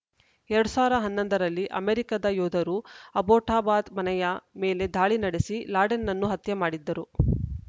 ಎರಡ್ ಸಾವಿರದ ಹನ್ನೊಂದ ರಲ್ಲಿ ಅಮೆರಿಕದ ಯೋಧರು ಅಬೋಟಾಬಾದ್‌ ಮನೆಯ ಮೇಲೆ ದಾಳಿ ನಡೆಸಿ ಲಾಡೆನ್‌ನನ್ನು ಹತ್ಯೆ ಮಾಡಿದ್ದರು